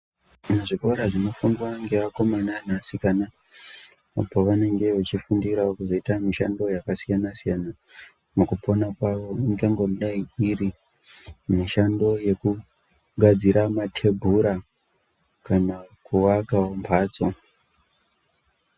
Muzvikora zvinofundwa ngeakomana neasikana apo vanenge vechifungirawo kuzoita mishando yakasiyana siyana mukupona kwawo ingangodai iri mishando yekugadzira mathebhura kana kuakawo mphadzo.